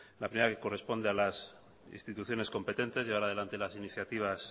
la primera que corresponde a las instituciones competentes llevar adelante las iniciativas